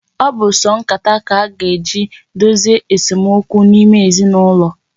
Ọ bụ sọ nkata ka a ga-eji dozie esomokwu n'ime ezinụlọ.